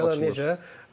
Afrikadan necə?